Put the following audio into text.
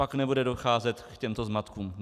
Pak nebude docházet k těmto zmatkům.